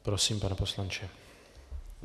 Prosím, pane poslanče.